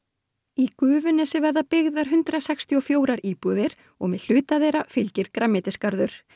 í Gufunesi verða byggðar hundrað sextíu og fjórar íbúðir og með hluta þeirra fylgir grænmetisgarður